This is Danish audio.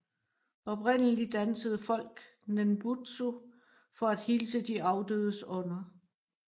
Oprindelig dansede folk nenbutsu for at hilse de afdødes ånder